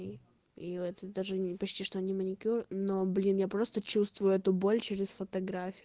и этот даже не почти что не маникюр но блин я просто чувствую эту боль через фотографию